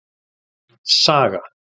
Saga